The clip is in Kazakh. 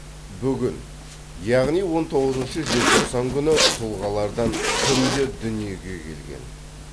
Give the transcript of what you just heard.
бүгін яғни он тоғызыншы желтоқсан күні тұлғалардан кімдер дүниеге келген